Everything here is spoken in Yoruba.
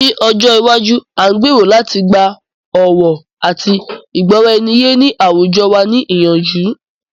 Ní ọjọ iwájú, a ń gbèrò láti gba ọ̀wọ̀ àti ìgbọ́raeniyé ní àwùjọ wa ní ìyànjú.